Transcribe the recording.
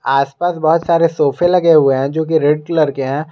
आसपास बहुत सारे सोफे लगे हुए हैं जोकि रेड कलर के हैं।